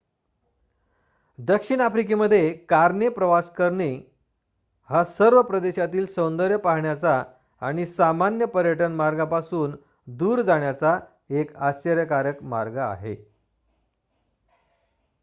दक्षिण आफ्रिकेमध्ये कारने प्रवेश करणे हा सर्व प्रदेशातील सौंदर्य पाहण्याचा आणि सामान्य पर्यटन मार्गांपासून दूर जाण्याचा एक आश्चर्यकारक मार्ग आहे